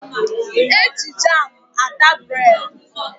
Eji jamu ata bred.